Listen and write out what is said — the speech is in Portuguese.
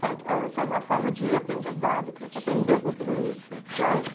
Certo, isso é uma forma de aprendizado, que você aprendeu com tudo isso